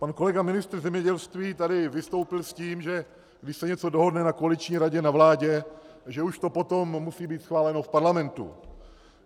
Pan kolega ministr zemědělství tady vystoupil s tím, že když se něco dohodne na koaliční radě na vládě, že už to potom musí být schváleno v parlamentu.